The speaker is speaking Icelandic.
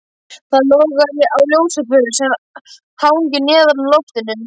Það logar á ljósaperu sem hangir neðan úr loftinu.